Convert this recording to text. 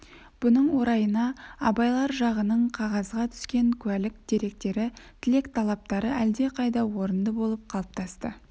бұның орайына абайлар жағының қағазға түскен куәлік деректері тілек-талаптары әлдеқайда орынды болып қалыптасты